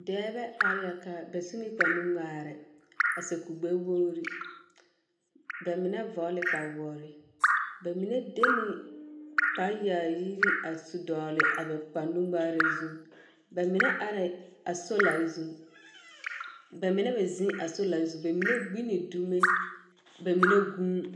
Dɛbɛ are la ka. Bɛ su ne kparenuŋmaare, a sɛ kur-gbɛwogri. Bɛ mine vɔgle kpawoore. Bɛ mine de ne kpareyaayiri a su dɔgle a bɛ kparenuŋmaare zũ. Bɛ mine arɛ a solare zũ. Bɛ mine meŋ zeŋ a solare zũ, bɛ mine meŋ gbi ne dume, bɛ mine gũũ.